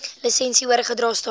lisensie oorgedra staan